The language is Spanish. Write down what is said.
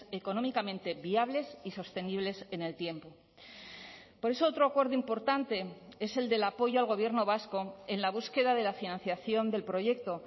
económicamente viables y sostenibles en el tiempo por eso otro acuerdo importante es el del apoyo al gobierno vasco en la búsqueda de la financiación del proyecto